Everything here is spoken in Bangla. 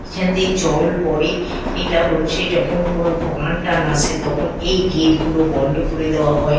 এখন দিয়ে জল পরে এটা হচ্ছে যখন কোনো বান টান আসে তখন এই গেট গুলো বন্ধ করে দেওয়া হয়।